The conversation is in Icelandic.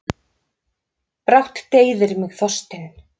Brátt deyðir mig þorstinn.